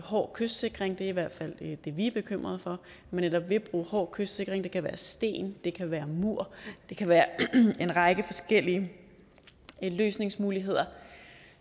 hård kystsikring det er i hvert fald det vi er bekymrede for nemlig man netop vil bruge hård kystsikring det kan være sten det kan være en mur det kan være en række forskellige løsningsmuligheder